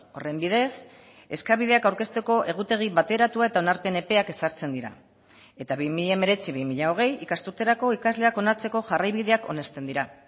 horren bidez eskabideak aurkezteko egutegi bateratua eta onarpen epeak ezartzen dira eta bi mila hemeretzi bi mila hogei ikasturterako ikasleak onartzeko jarraibideak onesten dira